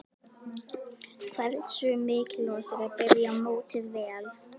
Hversu mikilvægt er að byrja mótið vel?